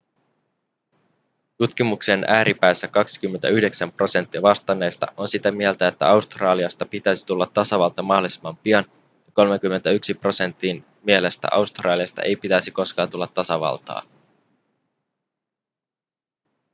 tutkimuksen ääripäissä 29 prosenttia vastanneista on sitä mieltä että australiasta pitäisi tulla tasavalta mahdollisimman pian ja 31 prosentin mielestä australiasta ei pitäisi koskaan tulla tasavaltaa